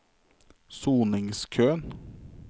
soningskøen